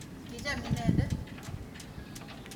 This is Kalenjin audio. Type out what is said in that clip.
Kichame inendet.